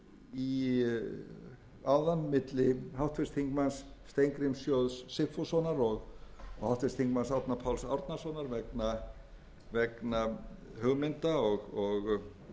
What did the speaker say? háttvirtra þingmanna steingríms j sigfússon og háttvirtum þingmanni árna páls árnasonar vegna hugmynda og aðgerða í sambandi við það